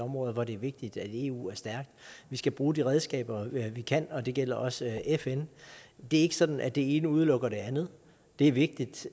områder hvor det er vigtigt at eu er stærk vi skal bruge de redskaber vi kan og det gælder også fn det er ikke sådan at det ene udelukker det andet det er vigtigt